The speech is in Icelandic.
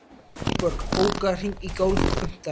Eyborg, bókaðu hring í golf á fimmtudaginn.